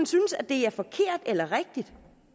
synes at det er forkert eller rigtigt